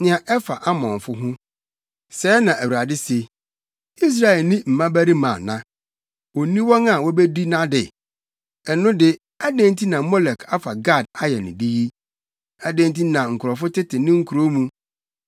Nea ɛfa Amonfo ho: Sɛɛ na Awurade se: “Israel nni mmabarima ana? Onni wɔn a wobedi nʼade? Ɛno de adɛn nti na Molek afa Gad ayɛ ne de yi? Adɛn nti na ne nkurɔfo tete ne nkurow mu?